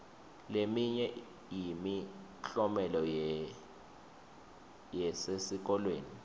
leminye yemiklomelo yesesikolweni